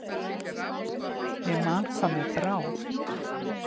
Ég man hvað mér brá.